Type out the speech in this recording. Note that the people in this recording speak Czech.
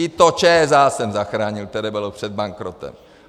I to ČSA jsem zachránil, které bylo před bankrotem.